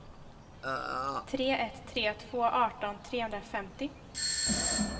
tre ett tre två arton trehundrafemtio